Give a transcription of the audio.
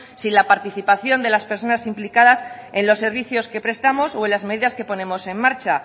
sin la participación de las personas implicadas en los servicios que prestamos o en las medidas que ponemos en marcha